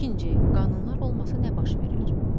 İkinci: Qanunlar olmasa nə baş verər?